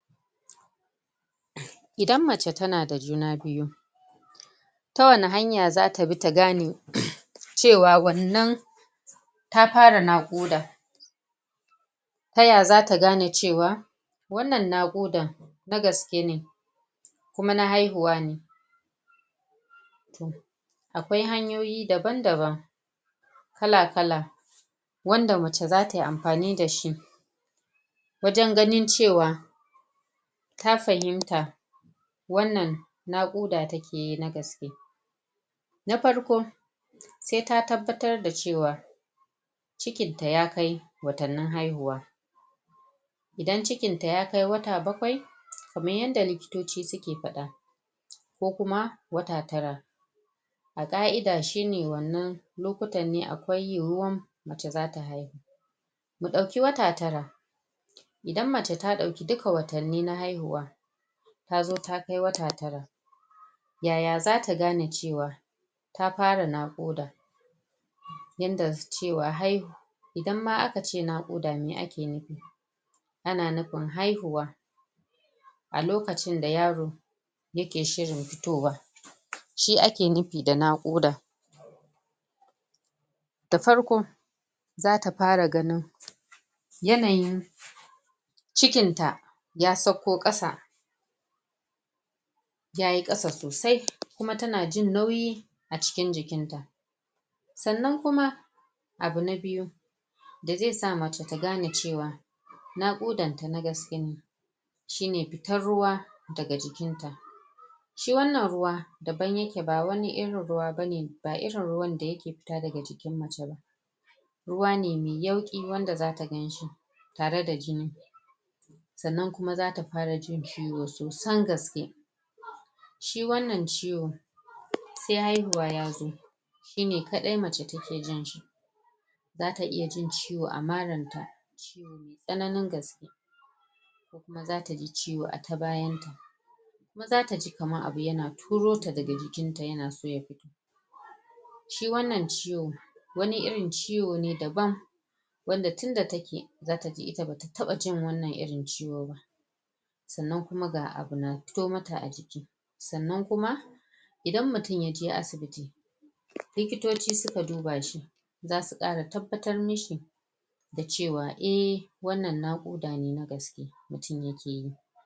idan mace tana da juna biyu ta wani hanya za ta bi ta gane cewa wannan ta fara nuƙuda ta ya zata gane cewa wannan naƙudan na gaske ne kuma na haihuwa ne akwai hanyoyi daban daban kala kala wanda mace zatayi amfani dashi wajan ganin cewa ta fahimta wannan naƙuda take yi na gaske na farƙo sai ta tabbatar da cewa cikin ta ya kai watannin haihuwa idan cikin ta ya kai wata baƙwai kaman yanda likitoci suke fada ko kuma wata tara a ƙa'ida shine wannan lokutan akwai yiyuwan da zata haihu mu dauki wata tara idan mace ta dauki duka watannan haihuwa tazo ta kai wata tara yaya zata gane cewa ta fara naƙuda yanda cewa haihuwa idan ma aka cewa naƙuda meh ake nufi ana nufin haihuwa a lokacin da yaro yake shirin fitowa shi ake nufi da nakuda da farƙo zata fara ganin yanayin cikin ta ya sauko kasa yayi kasa sosai kuma tana jin nauyi a cikin jikin ta sannan kuma abu na biyu da zai sa mace ta gane cewa naƙudan ta na gaske ne shine ta ruwa daga jikinta shi wannan ruwa daban yake ba wani irin ruwa ba irin ruwan da yake fita daga jikin mace ruwa ne mai yauƙi wanda zaka ganshi tare da jin sannan kuma zata fara jin ciwo sosan gaske shi wannan ciwo sai haihuwa yazo shine kadai mace take jin shi zata iya jin ciwo a maran ta tsananin gaske zata ji ciwo a ta bayan ta zata ji kaman abu na turo ta daga jikin ta yana so ya fito shi wannan ciwo wani irin ciwo ne daban wanda tunda take zata ji ita bata taba jin wannan ciwon ba sannan kuma ga abu na fito mata a jiki sannan kuma idan mutum ya je asibiti likitoci suka duba shi zasu kara tabbatar mishi da cewa ehh wannan naƙuda na gaske mutum yake yi.